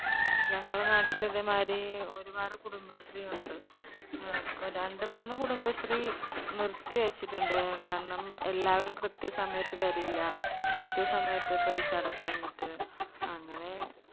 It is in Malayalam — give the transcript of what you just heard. ഞങ്ങളെ നാട്ടില് ഇതേമായിരി ഒരുപാട് കുടുംബശ്രീയുണ്ട്. ഏർ രണ്ട്‌ മൂന്ന് കുടുംബശ്രീ നിർത്തി വെച്ചിട്ടുണ്ട് കാരണം എല്ലാവരും കൃത്യസമയത്ത് വരില്ല. കൃത്യസമയത്ത് paisa അടക്കാഞ്ഞിട്ട് അങ്ങനെ